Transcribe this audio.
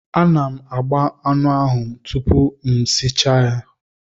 Ana m agba anụ ahụ tupu m esichaa ya.